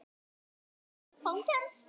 Hún lendir í fangi hans.